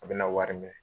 A bɛna wari minɛ